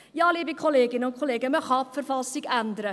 Ja, liebe Kolleginnen und Kollegen, man kann die Verfassung ändern.